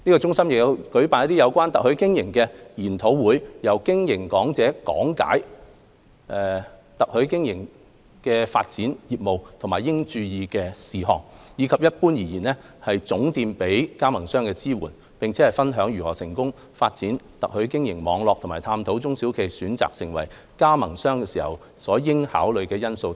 中心亦有舉辦有關特許經營的研討會，由嘉賓講者講解透過特許經營發展業務時應注意的事項，以及一般而言總店給予加盟商的支援，並分享如何成功發展特許經營網絡和探討中小企業選擇成為加盟商時應考慮的因素等。